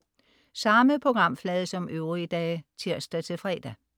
Samme programflade som øvrige dage (tirs-fre)